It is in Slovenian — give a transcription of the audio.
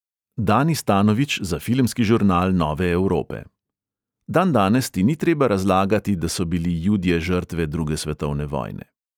Danis tanović za filmski žurnal nove evrope: "dandanes ti ni treba razlagati, da so bili judje žrtve druge svetovne vojne."